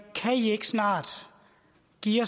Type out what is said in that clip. de